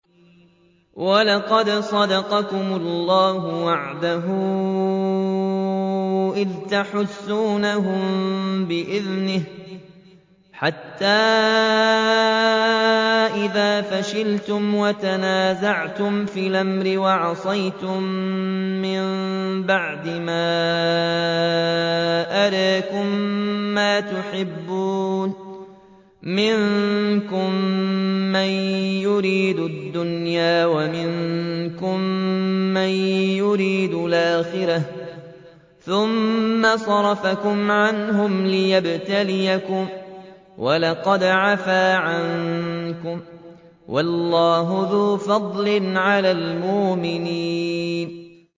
وَلَقَدْ صَدَقَكُمُ اللَّهُ وَعْدَهُ إِذْ تَحُسُّونَهُم بِإِذْنِهِ ۖ حَتَّىٰ إِذَا فَشِلْتُمْ وَتَنَازَعْتُمْ فِي الْأَمْرِ وَعَصَيْتُم مِّن بَعْدِ مَا أَرَاكُم مَّا تُحِبُّونَ ۚ مِنكُم مَّن يُرِيدُ الدُّنْيَا وَمِنكُم مَّن يُرِيدُ الْآخِرَةَ ۚ ثُمَّ صَرَفَكُمْ عَنْهُمْ لِيَبْتَلِيَكُمْ ۖ وَلَقَدْ عَفَا عَنكُمْ ۗ وَاللَّهُ ذُو فَضْلٍ عَلَى الْمُؤْمِنِينَ